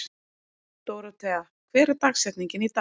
Dórothea, hver er dagsetningin í dag?